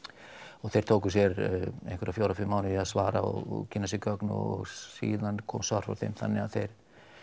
og þeir tóku sér einhverja fjóra til fimm mánuði í að svara og kynna sér gögn og síðan kom svar frá þeim þannig að þeir